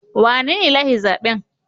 Wanene ya lashe zaben?